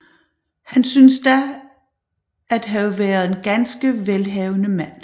Han synes da at have været en ganske velhavende mand